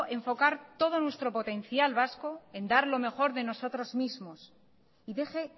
enfocar todo nuestro potencial vasco en dar lo mejor de nosotros mismos y deje